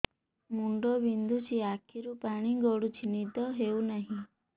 ମୁଣ୍ଡ ବିନ୍ଧୁଛି ଆଖିରୁ ପାଣି ଗଡୁଛି ନିଦ ହେଉନାହିଁ